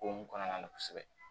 O hukumu kɔnɔna na kosɛbɛ